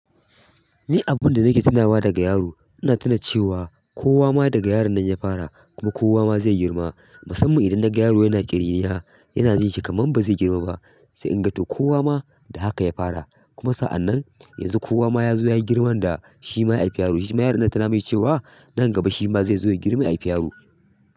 Ni abunda nake tunawa daga yaro, ina tuna cewa kowa ma daga yaron nan ya fara, kuma kowa ma zai girma. Musamman idan na ga yaro yana ƙiriniya, yana jin shi kamar bazai girma ba, sai in ga to kowa ma da haka ya fara, kuma sa'annan yanzu kowa ma ya zo ya girma da shima ya haifi yaro, shima yaron nan tana mai cewa nan gaba shi ma zai zo ya girma ya haifi yaro.